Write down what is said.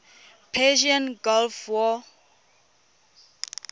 persian gulf war